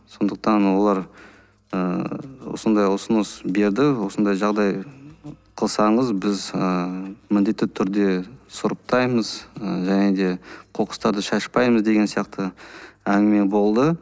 сондықтан олар ыыы осындай ұсыныс берді осындай жағдай қылсаңыз біз ыыы міндетті түрде сұрыптаймыз ы және де қоқыстарды шашпаймыз деген сияқты әңгіме болды